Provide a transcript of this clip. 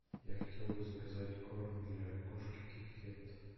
я хотел бы заказать корм для кошки китикет